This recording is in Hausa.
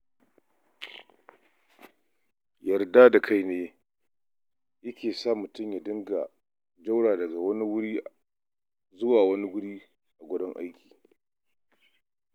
Yarda da kai ne ke sa mutum ya dinga jaura daga wani wuri aiki zuwa wani.